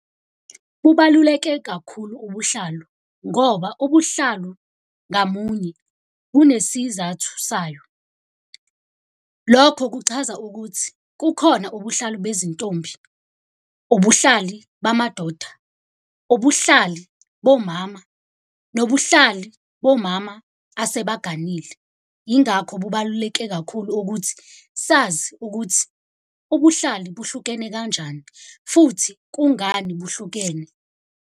Kubaluleke kakhulu ubuhlalu ngoba ubuhlalu ngamunye kunesizathu sayo. Lokho kuchaza ukuthi kukhona ubuhlalu bezintombi, ubuhlali bamadoda, ubuhlali bomama, nobuhlali bomama asebaganile. Yingakho kubaluleke kakhulu ukuthi sazi ukuthi ubuhlali buhlukene kanjani futhi kungani buhlukene.